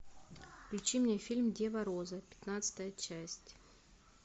включи мне фильм дева роза пятнадцатая часть